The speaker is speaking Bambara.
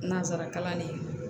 Nanzarakan kalanni